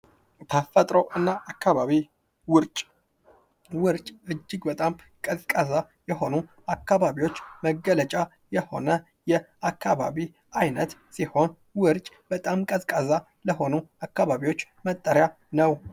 ፈጥሮና አካባቢ ውርጭ ውርጭ እጅግ በጣም ቀዝቃዛ ይሆኑ አካባቢዎች መገለጫ የሆነ የአካባቢ አይነት ሲሆን ውርጭ በጣም ቀዝቃዛ ለሆኑ አካባቢዎች መጠሪያ ነው ::